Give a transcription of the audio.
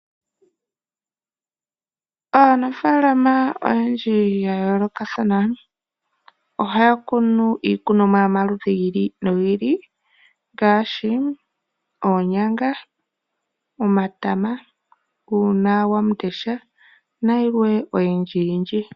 Aanafaalama oyendji ya yoolokathana ohaya kunu iikunomwa yomaludhi go ili nogi ili ngaashi oonyanga, omatama, uuna wamundesha nayilwe